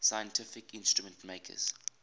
scientific instrument makers